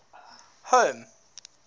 home